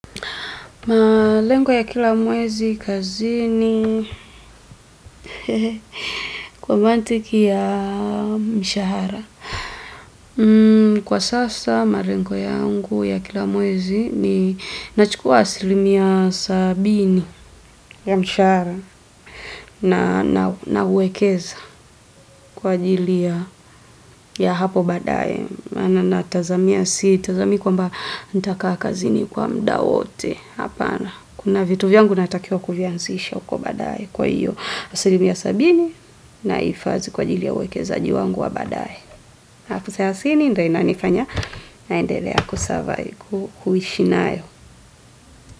Malengo ya kila mwezi kazini kwa mantiki ya mshahara. Kwa sasa malengo yangu ya kila mwezi ni nachukua asilimia sabini ya mshahara na nauwekeza kwa ajili ya hapo baadaye. Natazamia, sitazamii kwamba nitakaa kazini kwa muda wote. Hapana, kuna vitu vyangu natakiwa kuvianzisha huko baadaye. Kwa hiyo, asilimia sabini nahifadhi kwa ajili ya uwekezaji wangu wa baadaye. Elfu selasini ndiyo inanifanya nandelea kusurvive, kuishi nayo.